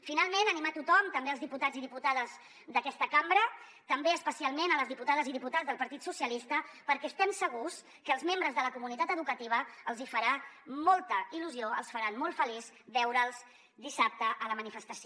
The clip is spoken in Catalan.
finalment animar tothom també els diputats i diputades d’aquesta cambra també especialment les diputades i diputats del partit socialistes perquè estem segurs que als membres de la comunitat educativa els hi farà molta il·lusió els farà molt feliços veure’ls dissabte a la manifestació